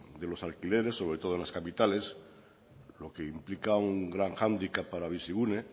de los alquileres sobre todo en las capitales lo que implica un gran hándicap para bizigune